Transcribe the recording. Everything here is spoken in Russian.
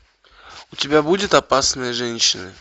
у тебя будет опасные женщины